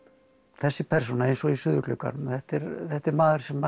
þessi persóna eins og í suðurglugganum þetta er þetta er maður sem